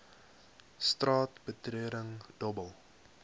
straat betreding dobbel